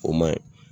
O ma ɲi